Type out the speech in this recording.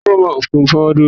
Afọwọ́fọmá kì í mọ́wọ́ dúró.